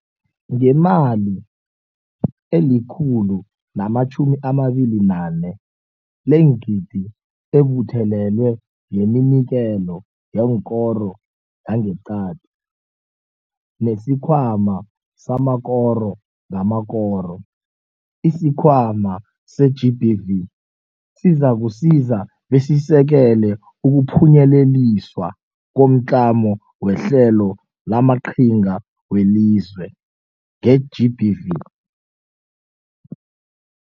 Ngemali eli-R128 leengidi ebuthelelwe ngeminikelo yekoro yangeqadi, nesikhwama samakoro ngamakoro, isiKhwama se-GBVF sizakusiza besisekele ukuphunyeleliswa komTlamo weHlelo lamaQhinga weliZwe nge-GBVF.